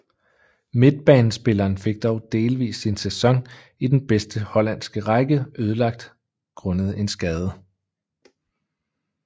Midtbanespilleren fik dog delvist sin sæson i den bedste hollandske række ødelagt grundet en skade